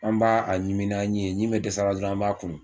An b'a a ɲimi n'an ɲi ye ɲi be dɛsɛ wa dɔrɔn an b'a kunu